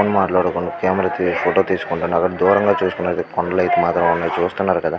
Phone మాట్లాడుకుంటూ camera తీ photo తీస్కుంటున్నారు. దూరంగా చూస్కున్నట్లైతే కొండలు ఐతే చూస్తున్నారు కదా.